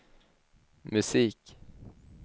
musik